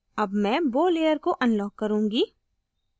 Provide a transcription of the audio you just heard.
अब मैं bow layer को unlock करुँगी